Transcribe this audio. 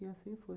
E assim foi.